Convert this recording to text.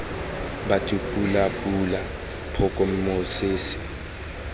batho pula pula phoka mosese